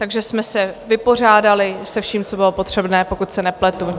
Takže jsme se vypořádali se vším, co bylo potřebné, pokud se nepletu.